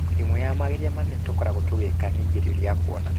ĩmwe ya mageria manene tũkoragwo tũgĩka ni igerio ria kũona.